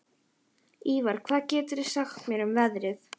Ívar, hvað geturðu sagt mér um veðrið?